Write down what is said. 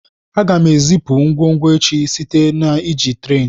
Aga m ezipu ngwongwo echi site na iji tren.